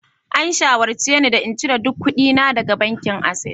An shawarce ni da in cire duk kuɗina daga bankin access